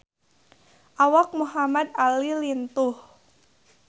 Awak Muhamad Ali lintuh